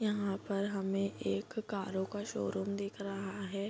यहाँ पर हमें एक कारों का शोरूम दिख रहा है।